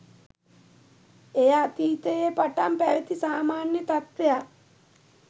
එය අතීතයේ පටන් පැවැති සාමාන්‍ය තත්ත්වයක්